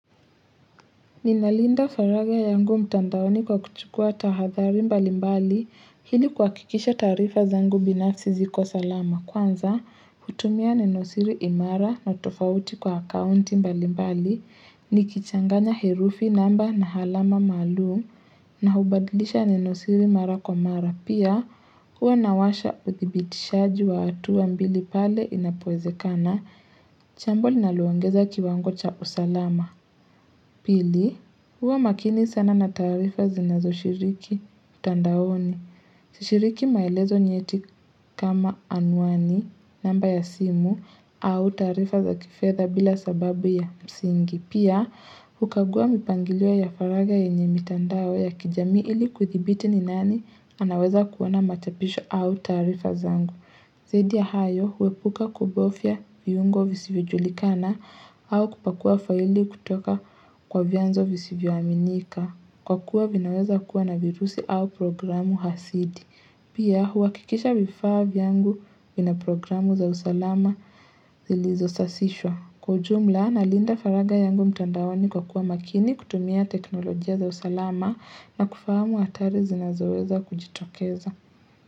Ninalinda faragha yangu mtandaoni kwa kuchukua tahadhari mbali mbali ili uhakikisha taarifa zangu binafsi ziko salama. Kwanza, hutumia nenosiri imara na tofauti kwa akaunti mbali mbali, nikichanganya herufi namba na alama maalum na hubadlisha nenosiri mara kwa mara. Pia, huwa nawasha uthibitishaji wa hatua mbili pale inapowezekana. Jambo linaloongeza kiwango cha usalama. Pili. Huwa makini sana na taarifa zinazoshiriki mtandaoni. Shiriki maelezo nyeti kama anwani namba ya simu au taarifa za kifedha bila sababu ya msingi. Pia, hukagua mipangilio ya faragha yenye mitandao ya kijamii ili kuthibiti ni nani anaweza kuona machapisho au taarifa zangu. Zadi ya hayo huepuka kubofya viungo visivyojulikana au kupakua faili kutoka kwa vianzo visivyoaminika. Kwa kuwa vinaweza kuwa na virusi au programu hasidi. Pia huhakikisha vifaa yangu vina programu za usalama zilizosasishwa. Kwa ujumla na linda faragha yangu mtandaoni i kwa kuwa makini kutumia teknolojia za usalama na kufahamu hatari zinazoweza kujitokeza.